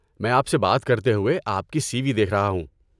میں آپ سے بات کرتے ہوئے آپ کی سی وی دیکھ رہا ہوں۔